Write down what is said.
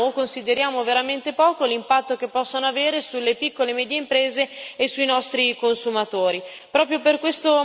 Ma non consideriamo o consideriamo veramente poco l'impatto che possono avere sulle piccole e medie imprese e sui consumatori.